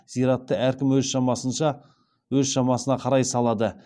зиратты әркім өз шамасына қарай салады